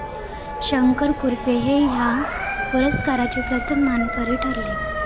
शंकर कुरुप हे या पुरस्काराचे प्रथम मानकरी ठरले.